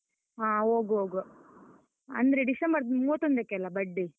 ಹಾ ಹೋಗುವ ಹೋಗುವ, ಅಂದ್ರೆ ಡಿಸೆಂಬರ್ ಮೂವತ್ತೊಂದಕ್ಕೆ ಅಲ್ಲ birthday?